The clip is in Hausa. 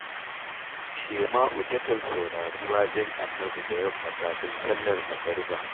Shema’u takan saurari waƙen Annabi da yamma kafin sallar magariba